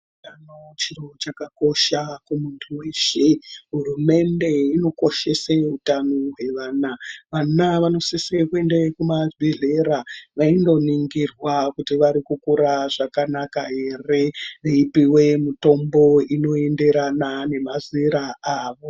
Utano chiro chakakosha kumuntu weshe. Hurumende inokoshese utano hwevana. Vana vanosise kuende kumabhedhlera vaindoningirwa kuti vari kukura zvakanaka here, veipuwe mitombo inoenderana nemazera avo.